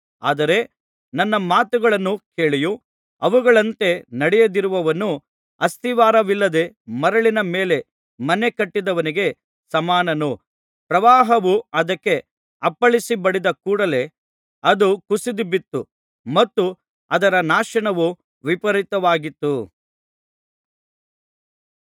ಆದರೆ ನನ್ನ ಮಾತುಗಳನ್ನು ಕೇಳಿಯೂ ಅವುಗಳಂತೆ ನಡೆಯದಿರುವವನು ಅಸ್ತಿವಾರವಿಲ್ಲದೆ ಮರಳಿನ ಮೇಲೆ ಮನೇ ಕಟ್ಟಿದವನಿಗೆ ಸಮಾನನು ಪ್ರವಾಹವು ಅದಕ್ಕೆ ಅಪ್ಪಳಿಸಿ ಬಡಿದ ಕೂಡಲೇ ಅದು ಕುಸಿದುಬಿತ್ತು ಮತ್ತು ಅದರ ನಾಶನವು ವಿಪರೀತವಾಗಿತ್ತು